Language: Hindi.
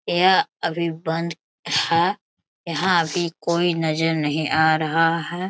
यह अभी बंद है यहाँ अभी कोई नजर नही आ रहा है।